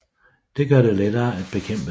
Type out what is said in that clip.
Det gør det lettere at bekæmpe dem